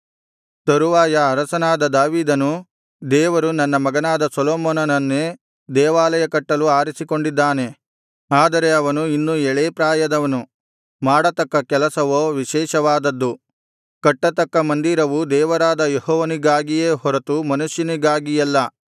ತರುವಾಯ ಅರಸನಾದ ದಾವೀದನು ದೇವರು ನನ್ನ ಮಗನಾದ ಸೊಲೊಮೋನನನ್ನೇ ದೇವಾಲಯ ಕಟ್ಟಲು ಆರಿಸಿಕೊಂಡಿದ್ದಾನೆ ಆದರೆ ಅವನು ಇನ್ನೂ ಎಳೇ ಪ್ರಾಯದವನು ಮಾಡತಕ್ಕ ಕೆಲಸವೋ ವಿಶೇಷವಾದದ್ದು ಕಟ್ಟತಕ್ಕ ಮಂದಿರವು ದೇವರಾದ ಯೆಹೋವನಿಗಾಗಿಯೇ ಹೊರತು ಮನುಷ್ಯನಿಗಾಗಿಯಲ್ಲ